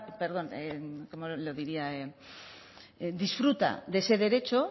perdón disfruta de ese derecho